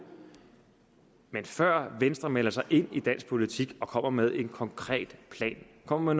men før venstre melder sig ind i dansk politik og kommer med en konkret plan kommer